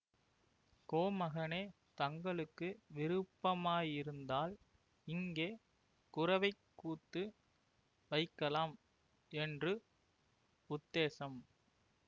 கோமகனே தங்களுக்கு விருப்பமாயிருந்தால் இங்கே குரவைக்கூத்து வைக்கலாம் என்று உத்தேசம்